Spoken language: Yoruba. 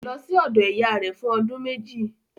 Kò lọ sí ọ̀dọ̀ ìyá rẹ̀ fún ọdún méjì